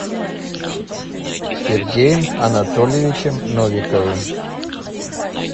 сергеем анатольевичем новиковым